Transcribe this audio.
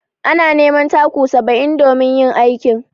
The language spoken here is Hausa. Ana neman taku saba'in domin yin aikin.